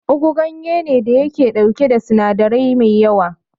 ugu ganye ne da yake dauke da sinadirai mai yawa.